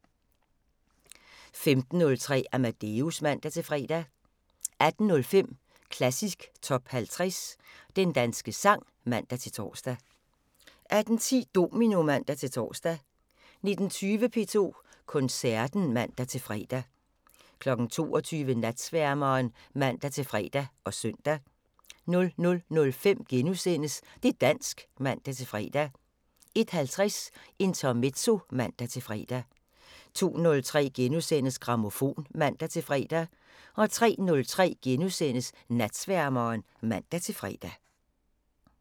15:03: Amadeus (man-fre) 18:05: Klassisk Top 50 - Den danske sang (man-tor) 18:10: Domino (man-tor) 19:20: P2 Koncerten (man-fre) 22:00: Natsværmeren (man-fre og søn) 00:05: Det' dansk *(man-fre) 01:50: Intermezzo (man-fre) 02:03: Grammofon *(man-fre) 03:03: Natsværmeren *(man-fre)